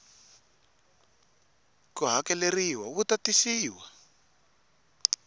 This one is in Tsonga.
ku hakeleriwa wu ta tisiwa